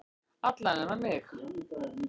Alla nema mig.